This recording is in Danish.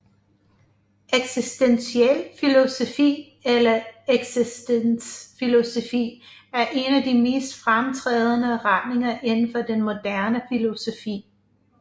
Eksistentiel filosofi eller eksistensfilosofi er en af de mest fremtrædende retninger inden for den moderne filosofi